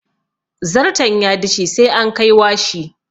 Zarton ya dishe sai an kai washi.